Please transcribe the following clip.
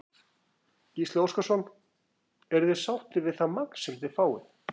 Gísli Óskarsson: Eruð þið sáttir við það magn sem þið fáið?